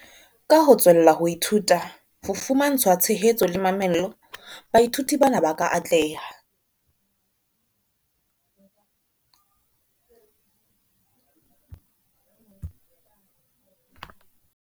Ka ho tswella ho ithuta, ho fumantshwa tshehetso le mamello, baithuti bana ba ka atleha.